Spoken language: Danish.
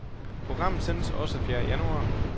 Programmet sendes også et fjerde januar.